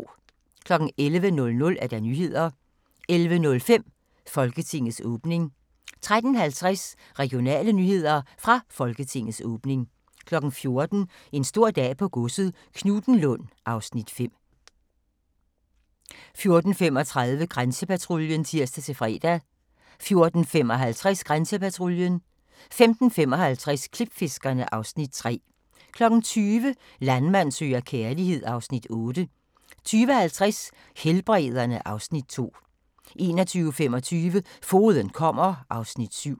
11:00: Nyhederne 11:05: Folketingets åbning 13:50: Regionale nyheder – fra Folketingets åbning 14:00: En stor dag på godset - Knuthenlund (Afs. 5) 14:35: Grænsepatruljen (tir-fre) 14:55: Grænsepatruljen 15:55: Klipfiskerne (Afs. 3) 20:00: Landmand søger kærlighed (Afs. 8) 20:50: Helbrederne (Afs. 2) 21:25: Fogeden kommer (Afs. 7)